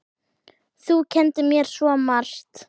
Þú kenndir mér svo margt.